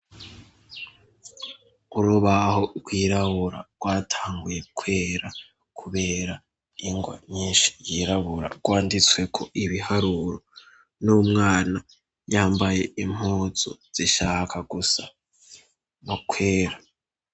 Urubaho rwirabura rwatanguye kwera kubera ingwa nyinshi yirabura. Rwanditsweko ibiharuro n'umwana yambaye impuzu zishaka gusa no kwera.